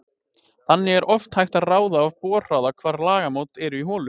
Þannig er oft hægt að ráða af borhraða hvar lagamót eru í holu.